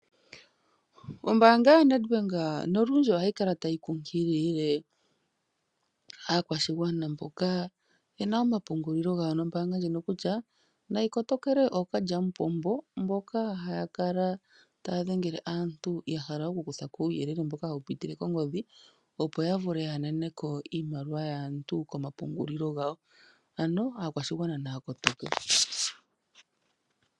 Oombaanga yaNetbank nolundji ohayi kala tayi nkunkilile aakwashigwana mboka yena omapungulilo gawo noombaanga ndjino kutya, nayi kotokele ookalyamupombo mboka haya kala taya dhengele aantu yahala okukuthako uuyelele mboka hawu pitile kongodhi, opo yavule yananeko iimaliwa yaantu komapungulilo gawo . Ano aakwashigwana naya kotoke.